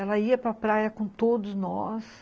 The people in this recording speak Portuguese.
Ela ia para praia com todos nós.